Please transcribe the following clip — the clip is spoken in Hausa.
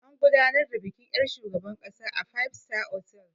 An gudanar da bikin yar' shugaban ƙasa a 5 star otal.